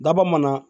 Daba mana